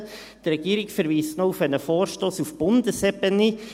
Die Regierung verweist noch auf einen Vorstoss auf Bundesebene .